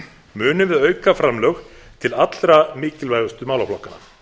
munum við auka framlög til allra mikilvægustu málaflokkanna